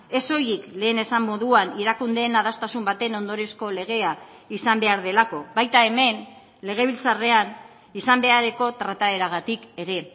ez soilik lehen esan moduan erakundeen adostasun baten ondoriozko legea izan behar delako baita hemen legebiltzarrean izan beharreko trataeragatik ere